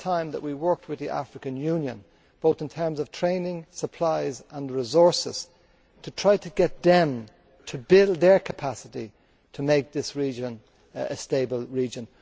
I think it is time that we worked with the African Union, in terms of training and supplies and resources, to try to get them to build their capacity to make this region a stable region.